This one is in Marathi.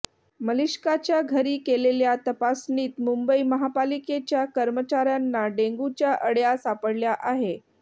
मलिष्काच्या घरी केलेल्या तपासणीत मुंबई महापालिकेच्या कर्मचाऱ्याना डेंग्यूच्या अळय़ा सापडल्या आहे